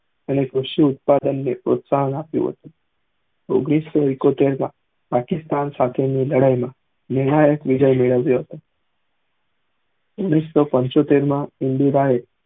એને કશું ઉત્પાદન કે પ્રોસ્સાહન આપ્યું ઓઘ્નીશ સૌ ઈકોતેર માં પાકિસ્તાન સાથે ની લડાય માં નિર્ણાયક વિજય મેળવ્યો હતો ઓઘ્નીશ સૌ પંચોતેર માં ઇન્દિરાએ